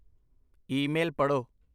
Email ਪੜ੍ਹੋ।